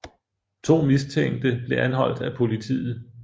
To mistænkte blev anholdt af politiet